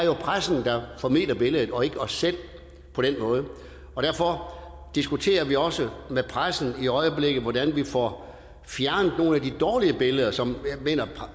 pressen der formidler billedet og ikke os selv på den måde og derfor diskuterer vi også med pressen i øjeblikket hvordan vi får fjernet nogle af de dårlige billeder som